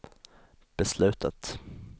beslutet